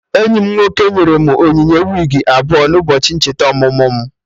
Enyi m nwoke nyere m onyinye wigi abụọ n'ụbọchị ncheta ọmụmụ mụ